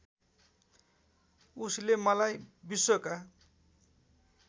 उसले मलाई विश्वका